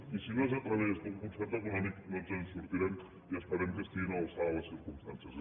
i si no és a través d’un concert econòmic no ens en sortirem i esperem que estiguin a l’alçada de les circumstàncies